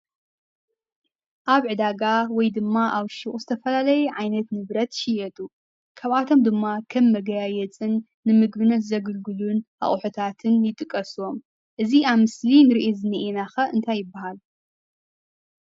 አብ ዕዳጋ ወይ ድማ አብ ሹቅ ዝተፈላለዩ ዓይነት ንብረት ይሽየጡ። ካብአቶም ድማ ከም መጋያየፅን ንምግብነት ዘገልግሉን አቁሑታትን ይጥቅሱ እዮም። እዚ አብ ምስሊ እንሪኦ ዝኒአና ኸ እንታይ ይበሃል?